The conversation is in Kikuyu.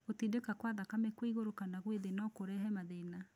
Gũtindĩka kwa thakame kwĩ igũrũ kana gwĩ thĩ no kũrehe mathĩna